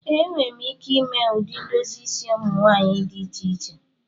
Ee, m nwere ike ime ụdị ndozi isi ụmụ nwanyị dị iche iche